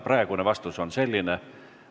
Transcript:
Praegune vastus on selline.